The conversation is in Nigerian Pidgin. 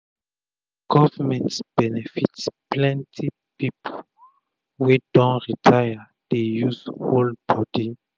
na govment benepit plenti pipu wey don retire dey use hold bodi